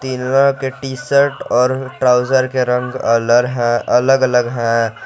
तिन्नों के टी_शर्ट और ट्राउजर के रंग अलर है अलग अलग है।